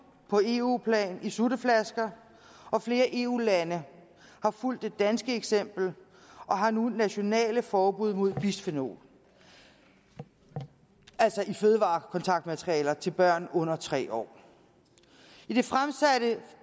på eu plan i sutteflasker og flere eu lande har fulgt det danske eksempel og har nu nationale forbud mod bisfenol i fødevarekontaktmaterialer til børn under tre år i det fremsatte